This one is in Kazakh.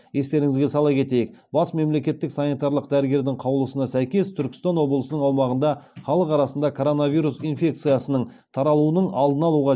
естеріңізге сала кетейік бас мемлекеттік санитарлық дәрігердің қаулысына сәйкес түркістан облысының аумағында халық арасында коронавирус инфекциясының таралуының алдын алуға